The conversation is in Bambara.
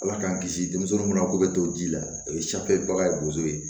Ala k'an kisi denmisɛnninw ma ko bɛ to ji la o ye baga ye bozo ye